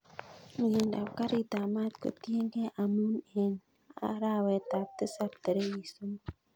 Miendab karit ab maat kotienangei amun en arawetab tisab tarigit somok